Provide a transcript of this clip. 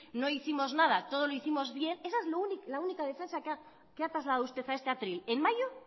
no hicimos nada todo lo hicimos bien esa es la única defensa que ha trasladado usted a este atril en mayo